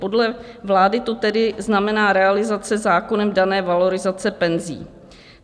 Podle vlády to tedy znamená realizace zákonem dané valorizace penzí.